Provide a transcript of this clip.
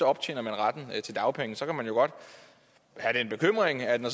optjener retten til dagpenge så kan man godt have den bekymring at når